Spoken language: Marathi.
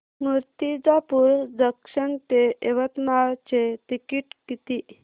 मूर्तिजापूर जंक्शन ते यवतमाळ चे तिकीट किती